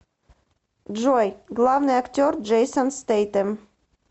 джой главный актер джейсон стэйтем